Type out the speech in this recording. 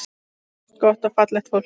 Allt gott og fallegt fólk.